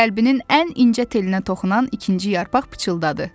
Qəlbinin ən incə telinə toxunan ikinci yarpaq pıçıldadı.